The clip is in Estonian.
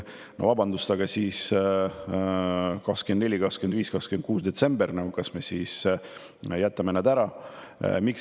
No vabandust, aga kas me jätame siis 24., 25. ja 26. detsembri ära?